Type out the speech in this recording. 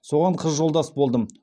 соған қыз жолдас болдым